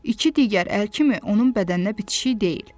İki digər əl kimi onun bədəninə bitişik deyil.